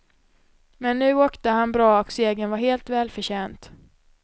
Men nu åkte han bra och segern var helt välförtjänt.